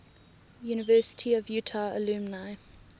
university of utah alumni